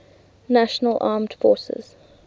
national armed forces